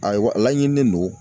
Ayiwa a laɲinilen don.